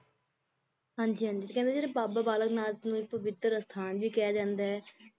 ਹਾਂਜੀ ਹਾਂਜੀ ਕਹਿੰਦੇ ਜਿਹੜੇ ਬਾਬਾ ਬਾਲਕ ਨਾਥ ਨੂੰ ਇੱਕ ਪਵਿੱਤਰ ਅਸਥਾਨ ਵੀ ਕਿਹਾ ਜਾਂਦਾ ਹੈ